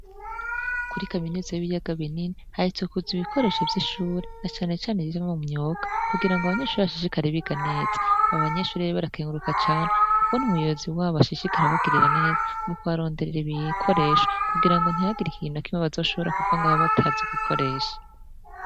Kuri kaminuzi y'ibiyaga binini, haherutse kuza ibikoresho vy'ishure, na cane cane ivyo mu myuga, kugira ngo abanyeshure bashishikare biga neza; abo banyeshure rero, barakenguruka cane, ukuntu umuyobozi wabo ashishikara abagirira neza, mu kubaronderera ibikoresho, kugira ngo ntihagira ikintu na kimwe, bazoshobora kuva ngaho batazi gukoresha.